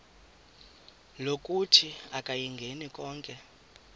lokuthi akayingeni konke